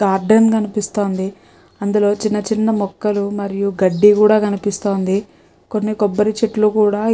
garden కనిపిస్తోంది అందులో చిన్న చిన్న మొక్కలు మరియు గడ్డిగుడా కనిపిస్తోంది కొన్ని కొబ్బరి చెట్లు కూడా ఇ --